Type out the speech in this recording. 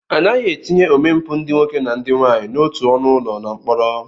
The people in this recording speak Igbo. Anaghị etinye omempụ ndị nwoke na ndị nwaanyị n'otu ọnụụlọ na mkpọrọ